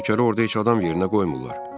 Nökəri orada heç adam yerinə qoymurlar.